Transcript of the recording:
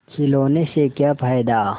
खिलौने से क्या फ़ायदा